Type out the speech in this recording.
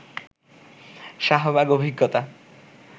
শাহবাগ অভিজ্ঞতা